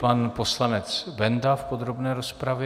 Pan poslanec Benda v podrobné rozpravě.